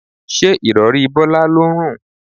Ṣé Ìrọ̀rí Bọ́lá ló ń rùn?